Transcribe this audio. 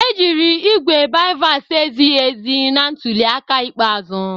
Ejiri igwe BIVAS ezighi ezi na ntuli aka ikpeazụ